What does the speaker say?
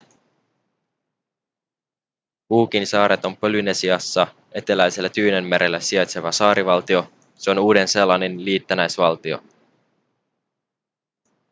cookinsaaret on polynesiassa eteläisellä tyynellämerellä sijaitseva saarivaltio se on uuden-seelannin liitännäisvaltio